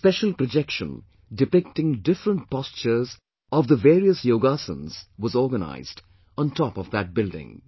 A special projection depicting different postures of the various yoga asanas was organized on top of that building